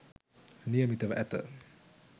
නියමිතව ඇත.